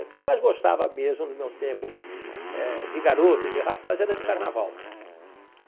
O que eu mais gostava mesmo do meu tempo eh de garoto e de rapaz era de carnaval.